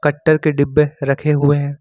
कट्टर के डिब्बे रखे हुए हैं।